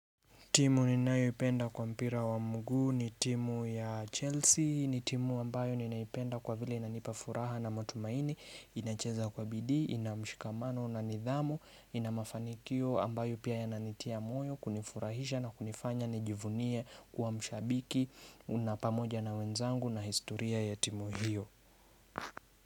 Timu ninayoipenda kwa mpira wa mguu ni timu ya Chelsea, ni timu ambayo ninaipenda kwa vile inanipafuraha na matumaini, inacheza kwa bidii, inamshikamano na nidhamu, inamafanikio ambayo pia yananitia moyo, kunifurahisha na kunifanya, nijivunie kuwa mshabiki, na pamoja na wenzangu na historia ya timu hiyo.